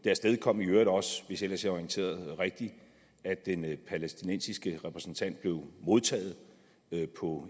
afstedkom i øvrigt også hvis jeg ellers er orienteret rigtigt at den palæstinensiske repræsentant blev modtaget på